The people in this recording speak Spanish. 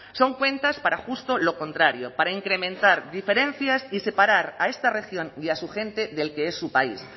son cuentas para justo lo contrario para incrementar diferencias y separar a esta región y a su gente del que es su país